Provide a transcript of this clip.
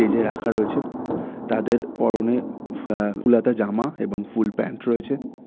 Stage -এ রাখা রয়েছে তাদের পরনে এ অ্যা ফুল হাতা জামা এবং ফুল প্যান্ট রয়েছে।